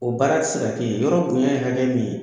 O baara ti se ka kɛ ye, yɔrɔ bonya ye hakɛ min ye